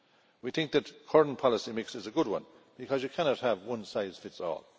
We think that the current policy mix is a good one, because you cannot have one size fits all'.